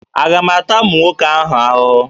Aga m ata ụmụ nwoke ahụhụ?